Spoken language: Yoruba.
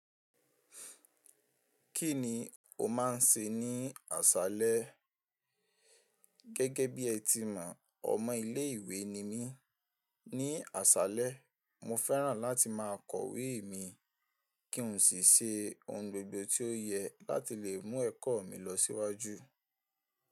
Kí ni o máa ń ṣe ní àṣálẹ́? Gẹ́gẹ́ bí ẹ ti mọ̀, ọmọ ilé ìwé ni mí. Ni asalẹ mo fẹ́ràn láti máa kọ ìwé mi, kí n sì ṣe ohun gbogbo tí ó yẹ láti lè mú ẹkọ mi lọ síwájú.